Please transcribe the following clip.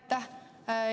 Aitäh!